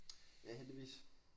Ja heldigvis